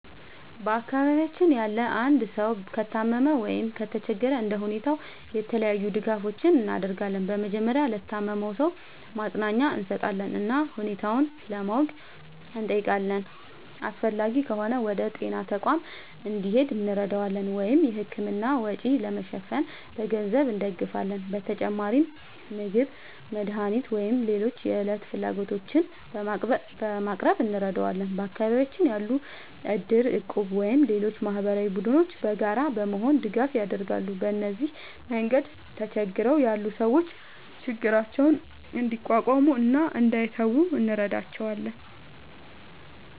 በአካባቢያችን ያለ አንድ ሰው ከታመመ ወይም ከተቸገረ እንደ ሁኔታው የተለያዩ ድጋፎችን እናደርጋለን። በመጀመሪያ ለታመመው ሰው ማጽናኛ እንሰጣለን እና ሁኔታውን ለማወቅ እንጠይቃለን። አስፈላጊ ከሆነ ወደ ጤና ተቋም እንዲሄድ እንረዳዋለን ወይም የሕክምና ወጪ ለመሸፈን በገንዘብ እንደግፋለን። በተጨማሪም ምግብ፣ መድኃኒት ወይም ሌሎች የዕለት ፍላጎቶችን በማቅረብ እንረዳዋለን። በአካባቢያችን ያሉ እድር፣ እቁብ ወይም ሌሎች ማህበራዊ ቡድኖችም በጋራ በመሆን ድጋፍ ያደርጋሉ። በዚህ መንገድ ተቸግረው ያሉ ሰዎች ችግራቸውን እንዲቋቋሙ እና እንዳይተዉ እንረዳቸዋለን።